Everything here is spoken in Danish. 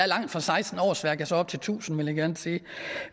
langt fra seksten årsværk og så op til tusind vil jeg gerne sige